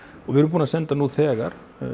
og við erum búin að senda nú þegar